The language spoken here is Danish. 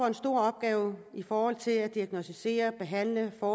en stor opgave i forhold til at diagnosticere behandle og